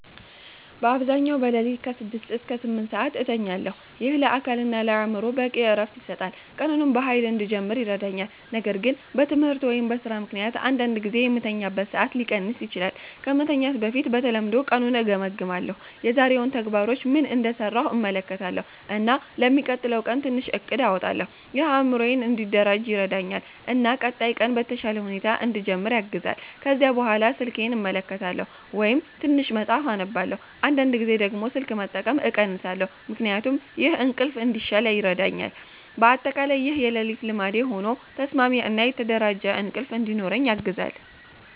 በአብዛኛው በሌሊት ከ6 እስከ 8 ሰዓት እተኛለሁ። ይህ ለአካል እና ለአእምሮ በቂ እረፍት ይሰጣል፣ ቀኑንም በኃይል እንድጀምር ይረዳኛል። ነገር ግን በትምህርት ወይም በስራ ምክንያት አንዳንድ ጊዜ የምተኛበት ሰዓት ሊቀንስ ይችላል። ከመተኛት በፊት በተለምዶ ቀኑን እገምግማለሁ። የዛሬውን ተግባሮች ምን እንደሰራሁ እመለከታለሁ እና ለሚቀጥለው ቀን ትንሽ እቅድ አወጣለሁ። ይህ አእምሮዬን እንዲደራጅ ይረዳኛል እና ቀጣይ ቀን በተሻለ ሁኔታ እንድጀምር ያግዛል። ከዚያ በኋላ ስልኬን እመለከታለሁ ወይም ትንሽ መጽሐፍ እነብባለሁ። አንዳንድ ጊዜ ደግሞ ስልክ መጠቀምን እቀንሳለሁ ምክንያቱም ይህ እንቅልፍ እንዲሻል ይረዳኛል። በአጠቃላይ ይህ የሌሊት ልማዴ ሆኖ ተስማሚ እና የተደራጀ እንቅልፍ እንዲኖረኝ ያግዛል።